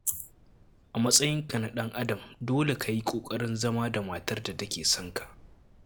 A matsayinka na ɗan'adam dole ka yi kokarin zama da matar da take son ka.